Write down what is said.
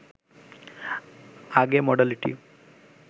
আগে মডালিটি